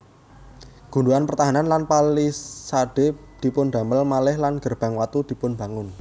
Gundukan pertahanan lan palisade dipundamel malih lan gerbang watu dipunbangun